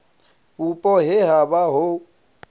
vhupo he ha vha hu